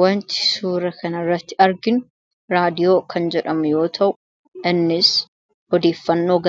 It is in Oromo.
wanti suura kanirratti argin raadiyoo kan jedhamu yoo ta'u nns hodiiffannoo